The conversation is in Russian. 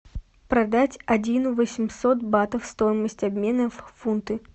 продать один восемьсот батов стоимость обмена в фунты